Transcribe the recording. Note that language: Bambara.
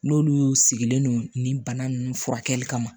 N'olu y'u sigilen don nin bana ninnu furakɛli kama